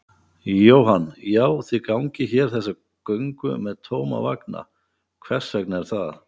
Jóhann: Já, þið gangið hér þessa göngu með tóma vagna, hvers vegna er það?